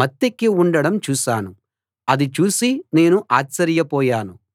మత్తెక్కి ఉండడం చూశాను అది చూసి నేను ఆశ్చర్యపోయాను